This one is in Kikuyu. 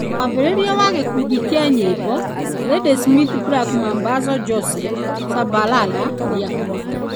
Mwambĩrĩria wa gĩkundi kĩa nyĩmbo , Ladysmith Black Mambazo Joseph Shabalala, nĩ akuĩte.